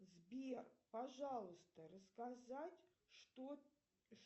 сбер пожалуйста рассказать что